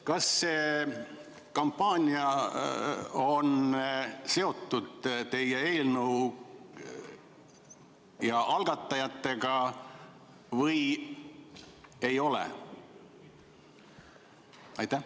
" Kas see kampaania on seotud teie eelnõu ja selle algatajatega või ei ole?